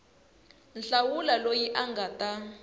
hlawula loyi a nga ta